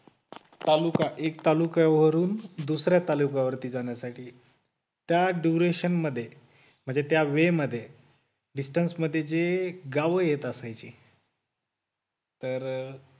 तालुका एक तालुका वरून दुसऱ्या तालुका वरती जाण्यासाठी त्या duration मध्ये, म्हणजे त्या way मध्ये distance मध्ये जे गाव येत असायचे तर